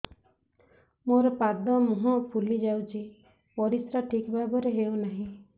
ମୋର ପାଦ ମୁହଁ ଫୁଲି ଯାଉଛି ପରିସ୍ରା ଠିକ୍ ଭାବରେ ହେଉନାହିଁ